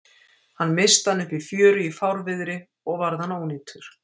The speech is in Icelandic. Hann missti hann upp í fjöru í fárviðri og varð hann ónýtur.